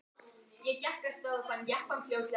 Soffía sagðist vera komin í afmælið hennar